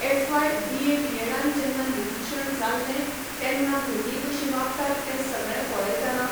FY BA बीएडान जेन्ना निरीक्षण जाल्ले तेन्ना भुरगीं कशीं वागतात तें सगळें पळयतना